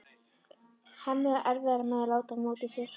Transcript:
Hemmi á erfiðara með að láta á móti sér.